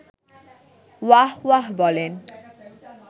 ওয়াহ্ ওয়াহ্ বলেন